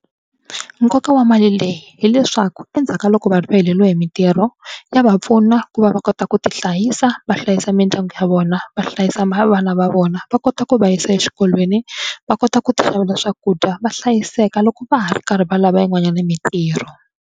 Nkoka wa mali leyi hileswaku endzhaku ka loko vanhu va heleriwe hi mitirho ya va pfuna ku va va kota ku tihlayisa, va hlayisa mindyangu ya vona, va hlayisa vana va vona, va kota ku va yisa eswikolweni, va kota ku tixavela swakudya va hlayiseka loko va ha ri karhi va lava yin'wanyana mitirho.